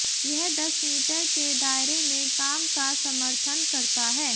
यह दस मीटर के दायरे में काम का समर्थन करता है